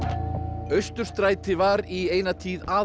Austurstræti var í eina tíð